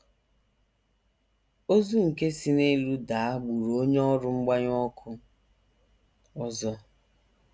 Ozu nke si n’elu daa gburu onye ọrụ mgbanyụ ọkụ ọzọ.